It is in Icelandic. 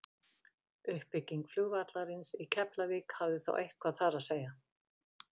uppbygging flugvallarins í keflavík hafði þó eitthvað þar að segja